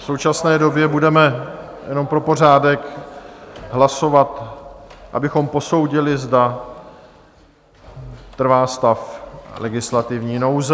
V současné době budeme - jenom pro pořádek - hlasovat, abychom posoudili, zda trvá stav legislativní nouze.